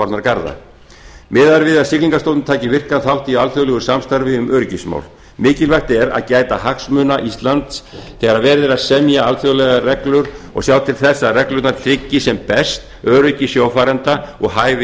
er við að siglingastofnun taki virkan þátt í alþjóðlegu samstarfi um öryggismál mikilvægt er að gæta hagsmuna íslands þegar verið er að semja alþjóðlegar reglur og sjá til þess að reglurnar tryggi sem best öryggi sjófarenda og hæfi